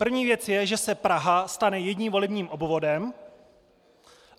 První věc je, že se Praha stane jedním volebním obvodem.